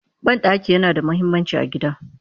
Banɗaki yana da muhimmanci a gida